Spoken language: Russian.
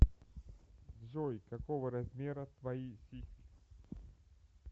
джой какого размера твои сиськи